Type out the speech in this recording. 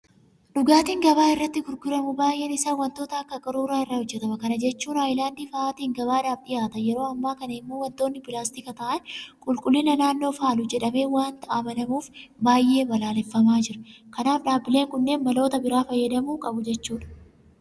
Dhugaatiin gabaa irratti gurguramu baay'een isaa waantota akka qaruuraa irraa hojjetama. Kana jechuun hayilaandii fa'aatiin gabaadhaaf dhiyaata. Yeroo ammaa kana immoo waantonni pilaastika ta'an qulqullina naannoo faalu jedhamee waanta amanamuuf baay'ee balaaleffamaa jira. Kanaaf dhaabbileen kunneen maloota biraa fayyadamuu qabu jechuudha.